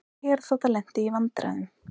Herþota lenti í vandræðum